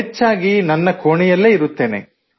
ಹೆಚ್ಚಾಗಿ ನನ್ನ ಕೋಣೆಯಲ್ಲೇ ಇರುತ್ತೇನೆ